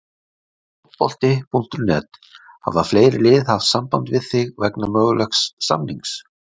Fótbolti.net: Hafa fleiri lið haft samband við þig vegna mögulegs samnings?